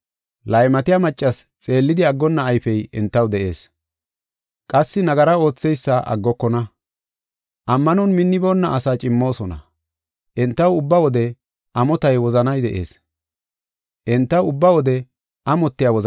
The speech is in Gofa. Laymatiya maccasi xeellidi aggonna ayfey entaw de7ees; qassi nagara ootheysa aggokona. Ammanon minniboonna asaa cimmoosona. Entaw ubba wode amotiya wozani de7ees; enti baadetidaysata.